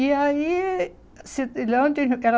E aí